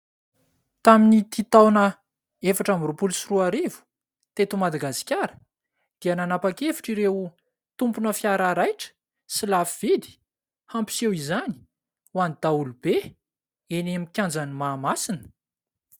Tamin'ity taona efatra amby roapolo sy roa arivo, teto Madagasikara dia nanapa-kevitra ireo tompona fiara raitra sy lafo vidy hampiseho izany ho an'ny daholobe eny amin'ny kianjan'ny Mahamasina.